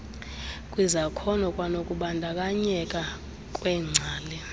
kwizakhono kwanokubandakanyeka kweengcali